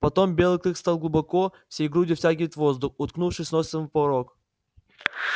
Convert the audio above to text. потом белый клык стал глубоко всей грудью втягивать воздух уткнувшись носом в порог